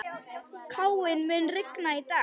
Káinn, mun rigna í dag?